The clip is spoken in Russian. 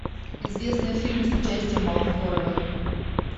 известный фильм с участием алферовой